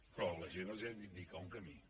però a la gent els hem d’indicar un camí